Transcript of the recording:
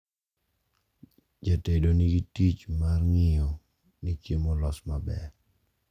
Jatedo nigi tich mar ng`iyo ni chiemo olos maber.